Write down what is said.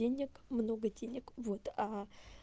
денег много денег вот